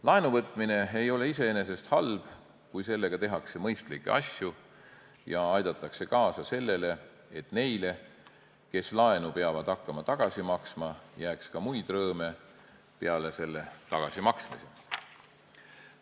Laenu võtmine ei ole iseenesest halb, kui sellega tehakse mõistlikke asju ja aidatakse kaasa sellele, et neile, kes laenu peavad hakkama tagasi maksma, jääks ka muid rõõme peale selle tagasimaksmise.